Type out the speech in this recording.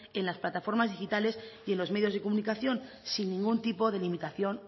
en las plataformas digitales y en los medios de comunicación sin ningún tipo de limitación